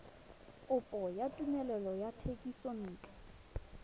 kopo ya tumelelo ya thekisontle